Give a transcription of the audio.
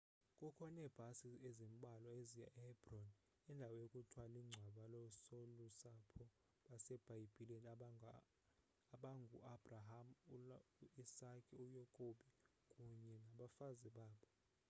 kukho neebhasi ezimbalwa eziya ehebron indawo ekuthiwa lingcwaba loosolusapho basebhayibhileni abangu abraham uisake uyakobi kunye nabafazi babo